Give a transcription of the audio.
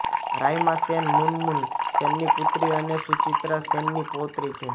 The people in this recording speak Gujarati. રાઈમા સેન મુનમુન સેનની પુત્રી અને સુચિત્રા સેનની પૌત્રી છે